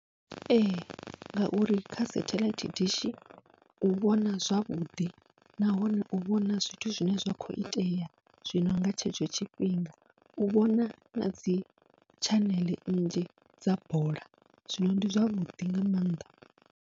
Ee ngauri kha setheḽaithi dishi u vhona zwavhuḓi nahone u vhona zwithu zwine zwa kho itea zwino nga tshetsho tshifhinga, u vhona nadzi tshaneḽe nnzhi dza bola zwino ndi zwavhuḓi nga maanḓa.